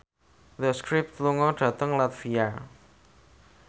The Script lunga dhateng latvia